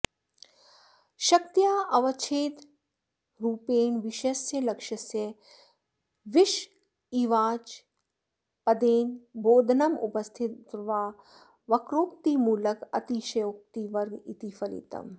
शक्यतावच्छेदकरूपेण विषयस्य लक्ष्यस्य विषयिवाचकपदेन बोधनमुपस्थितिर्वा वक्रोक्तिमूलक अतिशयोक्तिवर्ग इति फलितम्